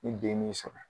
Ni den m'i sɔrɔ